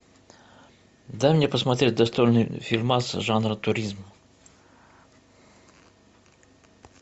дай мне посмотреть достойный фильмас жанра туризм